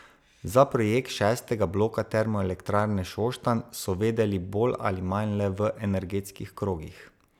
Za projekt šestega bloka Termoelektrarne Šoštanj so vedeli bolj ali manj le v energetskih krogih.